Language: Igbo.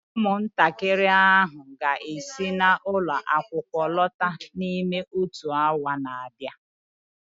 ụmụntakịrị ahụ ga-esi ụlọ akwụkwọ lọta n'ime otu awa na-abịa